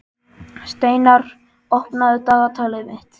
Steinar, opnaðu dagatalið mitt.